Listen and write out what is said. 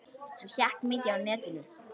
Hann hékk mikið á netinu.